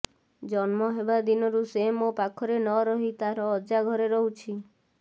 ଜନ୍ମ ହେବା ଦିନରୁ ସେ ମୋ ପାଖରେ ନରହି ତାର ଅଜା ଘରେ ରହୁଛି